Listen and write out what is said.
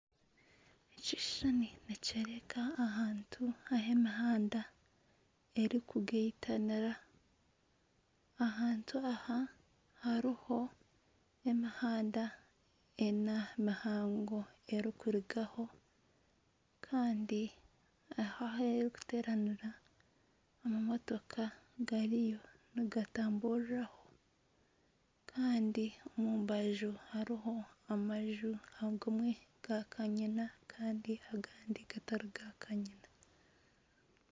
Ekishushani nikyoreka ahantu ahu emihanda erikugaitanira, ahantu aha hariho emihanda ena mihango erikurugaho kandi aho aheeri kuteeranira amamotooka gariyo nigatamburiraho kandi omu rubaju hariho amanju agamwe ga kanyina agandi gatari ga kanyina.